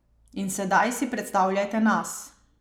In sedaj si predstavljajte nas.